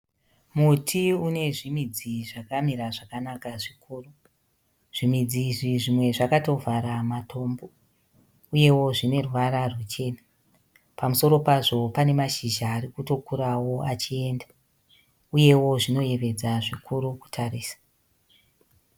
Muti unezvimidzi zvakamira zvakanaka zvikuru. Zvimidzi izvi zvimwe zvakatovhara matombo, uyewo zvineruvara rwuchena. Pamusoro pazvo pane mashizha arikutokurawo achienda , uyewo zvinoyevedza zvikuru kutarisa.